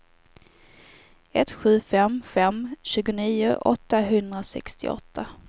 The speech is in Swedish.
ett sju fem fem tjugonio åttahundrasextioåtta